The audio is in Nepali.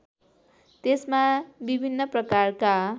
त्यसमा विभिन्न प्रकारका